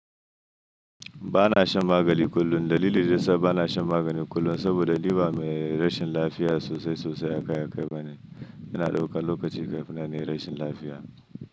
Ba na shan magani kullum. Dalili da yasa ba na shan magani kullum saboda ni ba mai rashin lafiya sosai sosai a kai a kai ba ne. Ina daukan lokaci kafin nan na yi rashin lafiya.